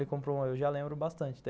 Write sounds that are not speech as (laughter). (unintelligible) Eu já lembro bastante.